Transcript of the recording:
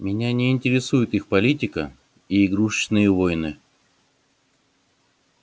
меня не интересует их политика и игрушечные войны